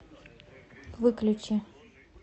выключи